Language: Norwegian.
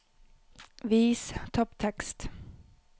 Vis topptekst